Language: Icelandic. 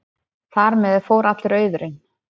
Þar með fór allur auðurinn.